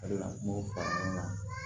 O de la n b'o fɔ ɲɔgɔn kan